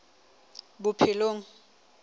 bophelong